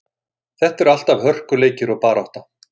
Þetta eru alltaf hörkuleikir og barátta.